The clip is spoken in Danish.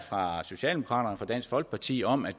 fra socialdemokraterne og dansk folkeparti om at